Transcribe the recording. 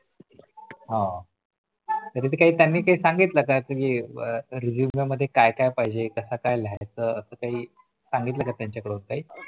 हा कधी त्यानी ते सांगितलं का कि अं Resume मध्ये काय काय पाहिजे कस काय लिहायचं कास काही सांगितलं का त्यांच्या कडून काही